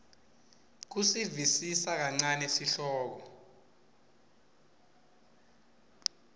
kusivisisa kancane sihloko